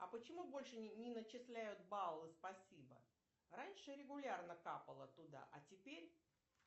а почему больше не зачисляют баллы спасибо раньше регулярно капало туда а теперь